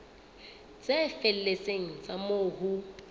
tse felletseng tsa moo ho